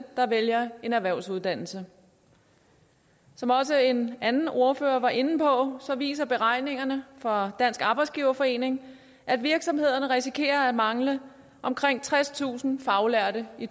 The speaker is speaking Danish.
der vælger en erhvervsuddannelse som også en anden ordfører var inde på viser beregningerne fra dansk arbejdsgiverforening at virksomhederne risikerer at mangle omkring tredstusind faglærte i